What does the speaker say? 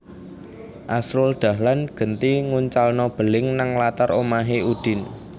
Asrul Dahlan genti nguncalno beling nang latar omahe Udin